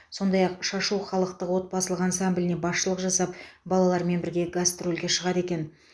сондай ақ шашу халықтық отбасылық ансамбліне басшылық жасап балалармен бірге гастрольге шығады екен